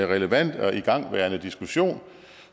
relevant og igangværende diskussion